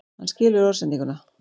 Hann skilur orðsendinguna.